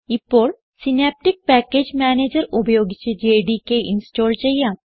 ഇപ്പോൾ Synaptic package manager ഉപയോഗിച്ച് JDK install ചെയ്യാം